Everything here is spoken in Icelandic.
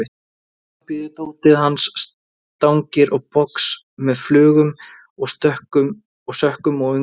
Heima bíður dótið hans, stangir og box með flugum og sökkum og önglum.